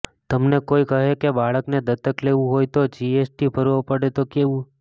તમને કોઈ કહે કે બાળકને દત્તક લેવું હોય તો જીએસટી ભરવો પડે તો કેવું